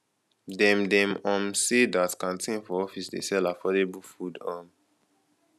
dem dem um sey dat canteen for office dey sell affordable food um